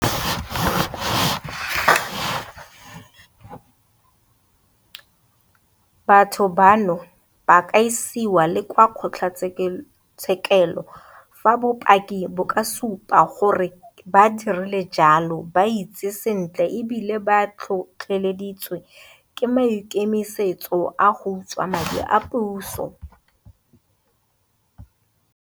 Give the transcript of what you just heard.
Batho bano ba ka isiwa le kwa kgotlatshekelo fa bopaki bo ka supa gore ba dirile jalo ba itsi sentle e bile ba tlhotlheleditswe ke maikemisetso a go utswa madi a puso.